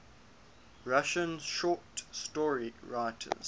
russian short story writers